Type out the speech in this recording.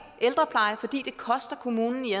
ældrepleje fordi det koster kommunen i